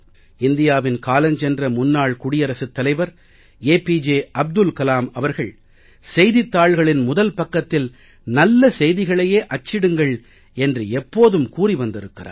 இந்தியாவின் காலஞ்சென்ற முன்னாள் குடியரசுத் தலைவர் ஏபிஜே அப்துல் கலம் அவர்கள் செய்தித் தாள்களின் முதல் பக்கத்தில் நல்ல செய்திகளையே அச்சிடுங்கள் என்று எப்போதும் கூறி வந்திருக்கிறார்